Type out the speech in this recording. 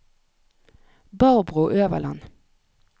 Barbro Øverland